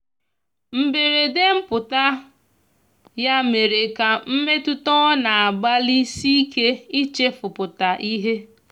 mgberede mputa ya mere ka mmetụta ọ na agbali sike ichefu pụta ihe